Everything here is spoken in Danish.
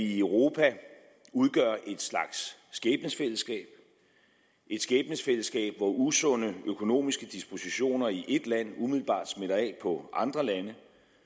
i europa udgør en slags skæbnefællesskab et skæbnefællesskab hvor usunde økonomiske dispositioner i et land umiddelbart smitter af på andre lande